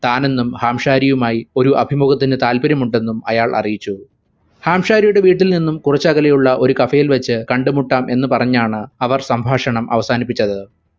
താനെന്നും ഹാംശാരിയുമായി ഒരു അഭിമുഖത്തിന് താല്പര്യം ഉണ്ടെന്നും അയാൾ അറിയിച്ചു ഹാംശാരിയുടെ വീട്ടിൽ നിന്നും കുറച്ചു അകലെയുള്ള ഒരു cafe ഇൽ വെച്ച് കണ്ടുമുട്ടാം എന്നു പറഞ്ഞാണ് സംഭാഷണം അവസാനിപ്പിച്ചത്